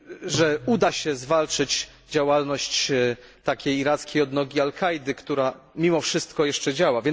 że uda się zwalczyć działalność takiej irackiej odnogi Al Kaidy, która mimo wszystko jeszcze działa.